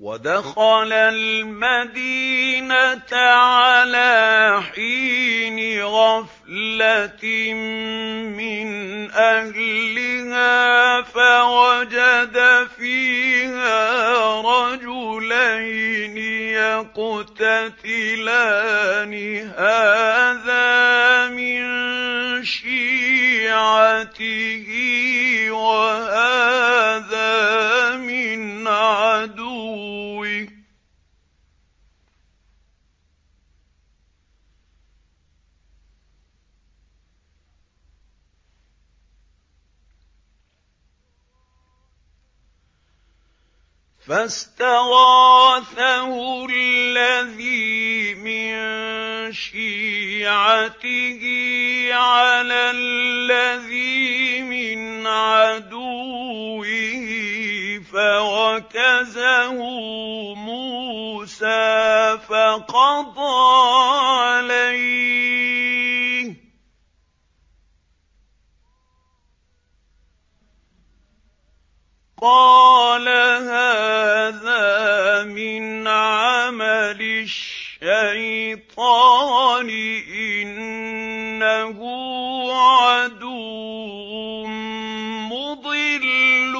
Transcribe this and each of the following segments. وَدَخَلَ الْمَدِينَةَ عَلَىٰ حِينِ غَفْلَةٍ مِّنْ أَهْلِهَا فَوَجَدَ فِيهَا رَجُلَيْنِ يَقْتَتِلَانِ هَٰذَا مِن شِيعَتِهِ وَهَٰذَا مِنْ عَدُوِّهِ ۖ فَاسْتَغَاثَهُ الَّذِي مِن شِيعَتِهِ عَلَى الَّذِي مِنْ عَدُوِّهِ فَوَكَزَهُ مُوسَىٰ فَقَضَىٰ عَلَيْهِ ۖ قَالَ هَٰذَا مِنْ عَمَلِ الشَّيْطَانِ ۖ إِنَّهُ عَدُوٌّ مُّضِلٌّ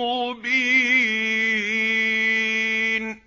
مُّبِينٌ